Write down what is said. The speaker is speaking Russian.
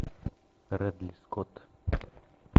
рэдли скотт